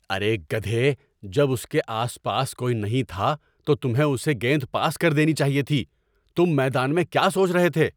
ارے گدھے۔ جب اس کے آس پاس کوئی نہیں تھا تو تمہیں اسے گیند پاس کر دینی چاہیے تھی۔ تم میدان میں کیا سوچ رہے تھے؟